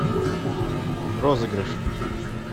розыгрыш